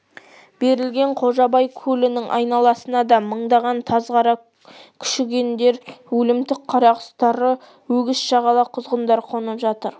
берілген қожабай көлінің айналасына да мыңдаған тазғара күшігендер өлімтік қарақұстары өгіз шағала құзғындар қонып жатыр